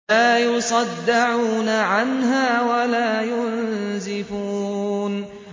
لَّا يُصَدَّعُونَ عَنْهَا وَلَا يُنزِفُونَ